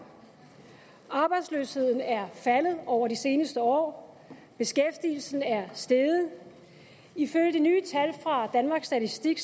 arbejdsløsheden er faldet over det seneste år og beskæftigelsen er steget ifølge de nye tal fra danmarks statistik